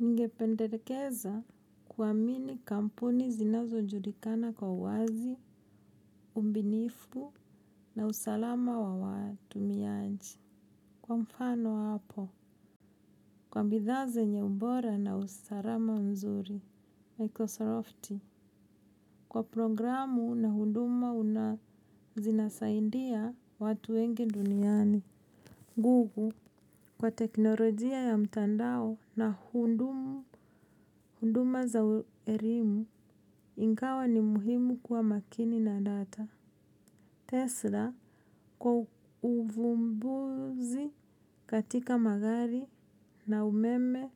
Ningependelekeza kuamini kampuni zinazo julikana kwa uwazi, umbinifu na usalama wa watumiaji. Kwa mfano hapo, kwa bidhaa zenye ubora na usalama mzuri, Microsoft, kwa programu na hunduma zinasaidia watu wengi duniani. Google kwa teknolojia ya mtandao na huduma za elimu ingawa ni muhimu kwa makini na data. Tesla kwa uvumbuzi katika magari na umeme